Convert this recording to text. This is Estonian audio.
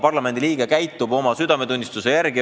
Parlamendiliige käitub oma südametunnistuse järgi.